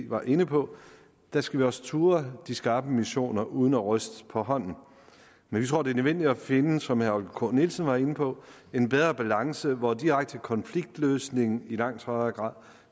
var inde på der skal vi også turde de skarpe missioner uden at ryste på hånden men vi tror det er nødvendigt at finde som herre k nielsen var inde på en bedre balance hvor direkte konfliktløsning i langt højere grad